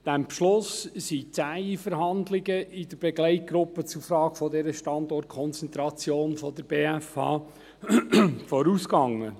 Diesem Beschluss sind zähe Verhandlungen in der Begleitgruppe zur Frage dieser Standortkonzentration der BFH vorausgegangen.